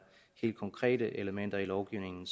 helt konkrete elementer i lovgivningen